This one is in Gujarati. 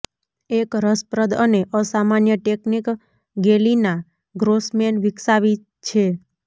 એક રસપ્રદ અને અસામાન્ય ટેકનિક ગેલિના ગ્રોસમેન વિકસાવી છે